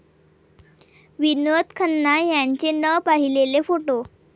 विनोद खन्ना यांचे न पाहिलेले फोटो